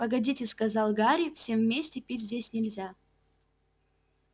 погодите сказал гарри всем вместе пить здесь нельзя